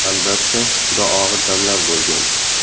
Albatta, juda og‘ir damlar bo‘lgan.